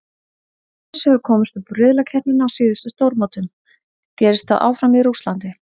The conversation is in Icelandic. Sviss hefur komist upp úr riðlakeppninni á síðustu stórmótum, gerist það áfram í Rússlandi?